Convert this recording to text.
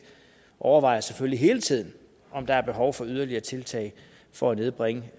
og vi overvejer selvfølgelig hele tiden om der er behov for yderligere tiltag for at nedbringe